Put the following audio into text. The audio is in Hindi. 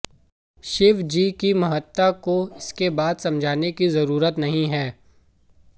शिवजी की महत्ता को इसके बाद समझाने की जरुरत नहीं है